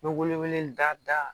N bɛ wele wele da da